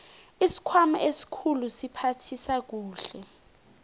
isikhwama esikhulu siphathisa kuhle